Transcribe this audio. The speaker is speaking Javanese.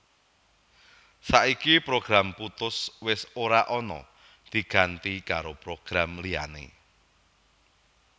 Saiki program Puttus wis ora ana diganti karo program liyané